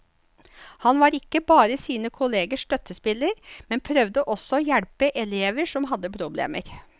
Han var ikke bare sine kollegers støttespiller, men prøvde også å hjelpe elever som hadde problemer.